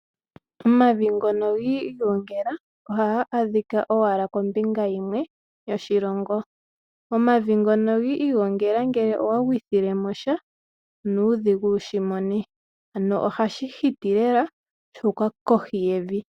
Omavi ngono gi igongela, ohaga adhika owala kombinga yimwe yoshilongo. Omavi ngono gi igongela ngele owa gwithile mo sha, onuudhigu wushimone. Ano ohashi hiti lela shu uka kohi yevi.